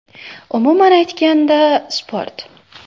Umuman aytganda, sport.